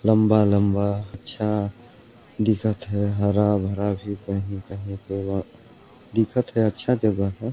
लंबा-लंबा अच्छा दिखत है हरा-भरा कहीं कहीं पे और दिखत है अच्छा जगह है।